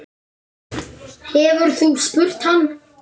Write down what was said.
Hefurðu spurt hann?